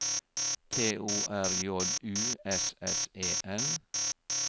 T O R J U S S E N